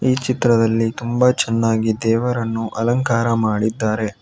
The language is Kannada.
ಈ ಚಿತ್ರದಲ್ಲಿ ತುಂಬ ಚೆನ್ನಾಗಿ ದೇವರನ್ನು ಅಲಂಕಾರ ಮಾಡಿದ್ದಾರೆ.